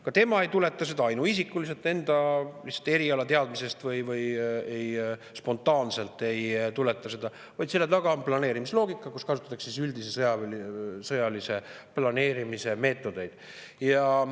Ka tema ei tuleta seda ainuisikuliselt lihtsalt enda erialateadmisest või ei tuleta seda spontaanselt, vaid selle taga on planeerimisloogika, kus kasutatakse üldise sõjalise planeerimise meetodeid.